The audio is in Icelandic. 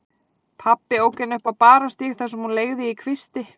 Pabbi ók henni upp á Barónsstíg þar sem hún leigði í kvisti.